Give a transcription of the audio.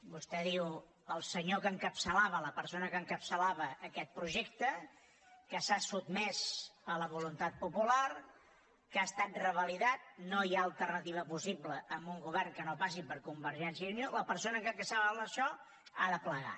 vostè diu el senyor que encapçalava la persona que encapçalava aquest projecte que s’ha sotmès a la voluntat popular que ha estat revalidat no hi ha alternativa possible a un govern que no passi per convergència i unió la persona que encapçalava això ha de plegar